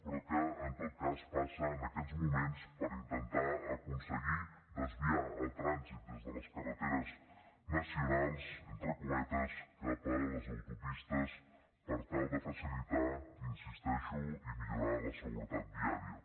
però que en tot cas passa en aquests moments per intentar aconseguir desviar el trànsit des de les carreteres nacionals entre cometes cap a les autopistes per tal de facilitar hi insisteixo i millorar la seguretat viària